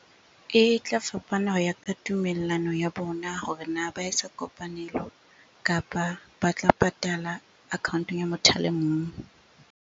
E tla fapana ho ya ka tumellano ya bona hore na ba etsa kopanelo? Kapa ba tla patala account-ong ya motho a le mong.